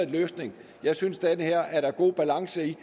løsning jeg synes der er god balance i